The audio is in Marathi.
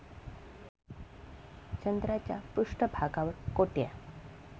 चंद्राच्या पृष्ठभागावर कोट्या